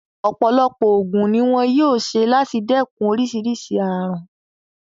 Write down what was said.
Ọ̀pọ̀lọpọ̀ ògùn ni wón yóò ṣe láti dẹ́kun oríṣìíríṣìí ààrùn.